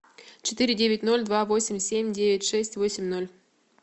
четыре девять ноль два восемь семь девять шесть восемь ноль